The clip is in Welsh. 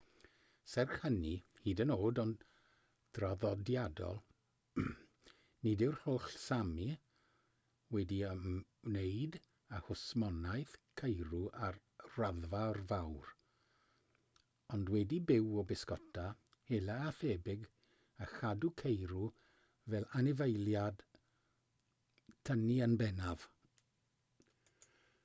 serch hynny hyd yn oed yn draddodiadol nid yw'r holl sámi wedi ymwneud â hwsmonaeth ceirw ar raddfa fawr ond wedi byw o bysgota hela a thebyg a chadw ceirw fel anifeiliaid tynnu yn bennaf